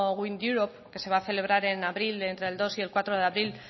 windeurope que se va a celebrar en abril entre el dos y el cuatro de abril